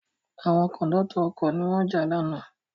Àwọn Kòńdọ́tọ̀ ọkọ̀ ni wọ́n jà lánàá